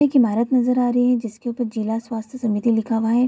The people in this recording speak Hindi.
एक इमारत नजर आ रही है जिसके ऊपर जिला स्वास्थ समिति लिखा हुआ है।